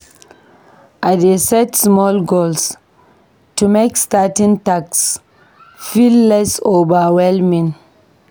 I dey set small goals to make starting tasks feel less overwhelming.